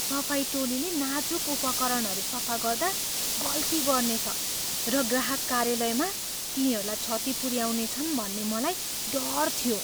सफाई टोलीले नाजुक उपकरणहरू सफा गर्दा गल्ती गर्नेछ र ग्राहक कार्यालयमा तिनीहरूलाई क्षति पुऱ्याउनेछन् भन्ने मलाई डर थियो।